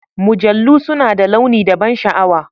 Mujallu suna da launi da ban sha'awa.